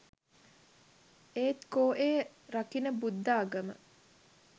ඒත් කෝ ඒ රකින බුද්ධාගම